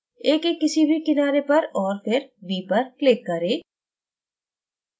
a के किसी भी किनारे पर और फिर b पर click करें